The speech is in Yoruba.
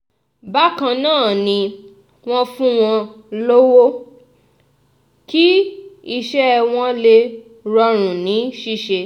bákan náà ni wọ́n fún wọn lọ́wọ́ kí iṣẹ́ wọn lè rọrùn ní ṣíṣe